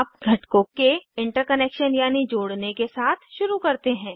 अब घटकों के इन्टर्कनेक्शन यानी जोड़ने के साथ शुरू करते हैं